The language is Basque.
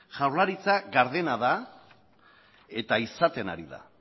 jaurlaritza gardena da eta izaten ari da